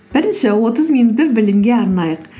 бірінші отыз минутты білімге арнайық